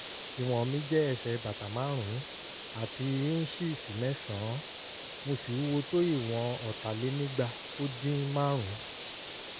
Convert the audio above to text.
ìwọ̀n mi jẹ́ ẹsẹ̀ bàtà márùn-ún àti híńṣíìsì mẹ́sàn-án mo sì wúwo tó ìwọ̀n ọ̀tàlénígba-ó-dín-márùn-ún